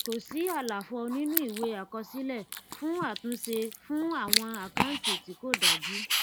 kò sí àlàfo nínú ìwé àkọsílẹ fún àtúnṣe fún àwọn àkáǹtì tí kò dájú